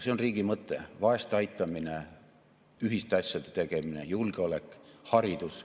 See on riigi mõte: vaeste aitamine, ühiste asjade tegemine, julgeolek, haridus.